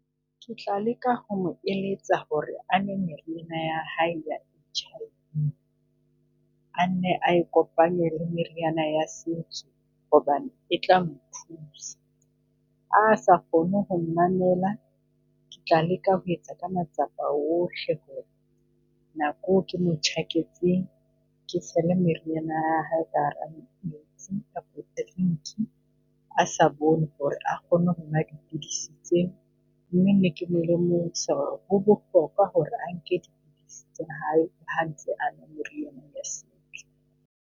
Ke tla leka ho mo eletsa ho re a nwe mariana ya hae a nne a e kopanye re meriana ya setso, hobane e ta mo thusa. Ha sa kgone ho mamela ke tla leka ho etsa ka matsapa ohle ho re nakwe ke mo tjhaketseng ke tshele meriana ya hae a ha bone ho re, a kgone ho nwa dipilisi. Ho bohlokwa ho re a nke dipidisi tsa hae hantle a .